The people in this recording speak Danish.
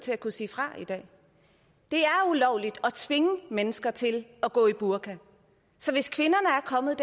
til at kunne sige fra i dag det er ulovligt at tvinge mennesker til at gå i burka så hvis kvinderne